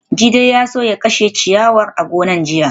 Jide ya so ya kashe ciyawar a gonar jiya